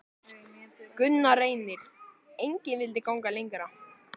Gunnar Reynir: Engin vildi ganga lengra?